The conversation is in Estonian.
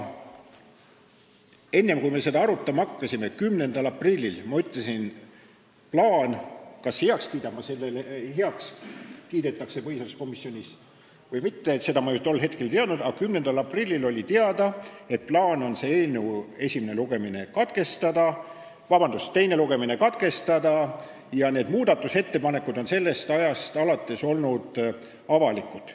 Enne kui me seda 10. aprillil arutama hakkasime, ma ju ei teadnud, kas see plaan põhiseaduskomisjonis heaks kiidetakse või mitte, aga 10. aprillil oli teada, et plaan on eelnõu teine lugemine katkestada, ja need muudatusettepanekud on sellest ajast alates avalikud olnud.